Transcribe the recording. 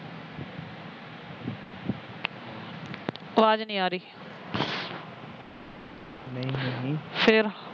ਅਵਾਜ ਨਹੀ ਆ ਰਹੀ ਫੇਰ